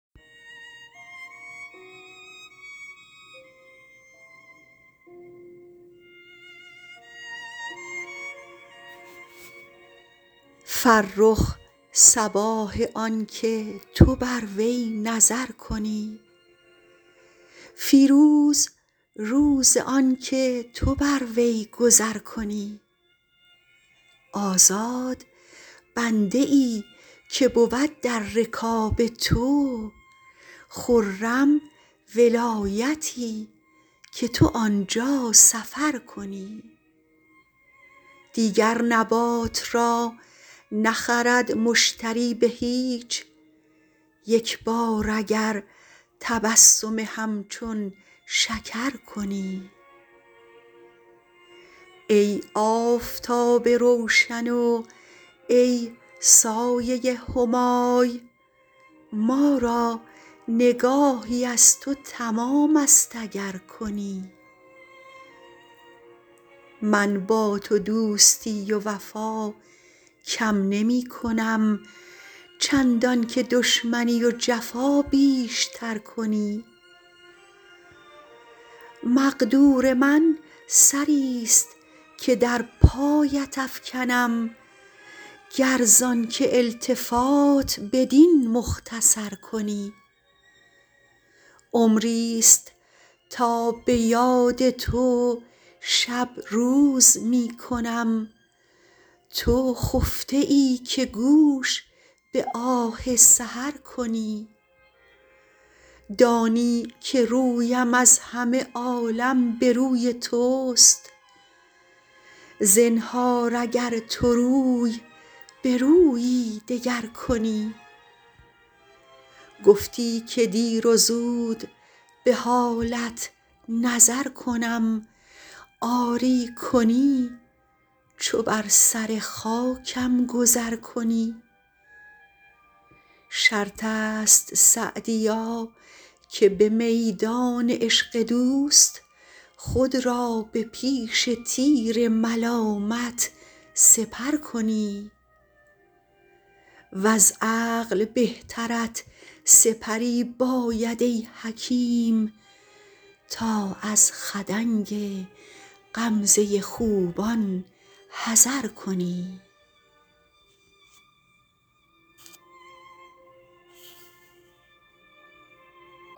فرخ صباح آن که تو بر وی نظر کنی فیروز روز آن که تو بر وی گذر کنی آزاد بنده ای که بود در رکاب تو خرم ولایتی که تو آن جا سفر کنی دیگر نبات را نخرد مشتری به هیچ یک بار اگر تبسم همچون شکر کنی ای آفتاب روشن و ای سایه همای ما را نگاهی از تو تمام است اگر کنی من با تو دوستی و وفا کم نمی کنم چندان که دشمنی و جفا بیش تر کنی مقدور من سری ست که در پایت افکنم گر زآن که التفات بدین مختصر کنی عمری ست تا به یاد تو شب روز می کنم تو خفته ای که گوش به آه سحر کنی دانی که رویم از همه عالم به روی توست زنهار اگر تو روی به رویی دگر کنی گفتی که دیر و زود به حالت نظر کنم آری کنی چو بر سر خاکم گذر کنی شرط است سعدیا که به میدان عشق دوست خود را به پیش تیر ملامت سپر کنی وز عقل بهترت سپری باید ای حکیم تا از خدنگ غمزه خوبان حذر کنی